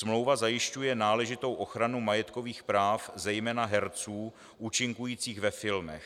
Smlouva zajišťuje náležitou ochranu majetkových práv zejména herců účinkujících ve filmech.